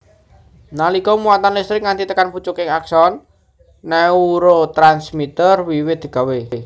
Nalika muatan listrik nganti tekan pucuking akson neurotransmiter wiwit digawé